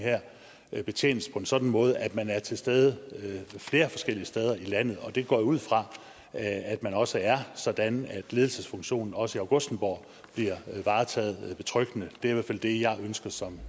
betjenes på en sådan måde at man er til stede flere forskellige steder i landet det går jeg ud fra at man også er sådan at ledelsesfunktionen også i augustenborg bliver varetaget betryggende det er i hvert fald det jeg ønsker som